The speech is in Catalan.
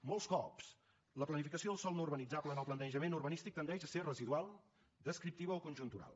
molts cops la planificació del sòl no urbanitzable en el planejament urbanístic tendeix a ser residual descriptiva o conjuntural